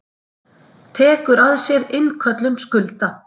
Tekur að sér innköllun skulda.